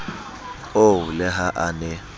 oo le ha a ne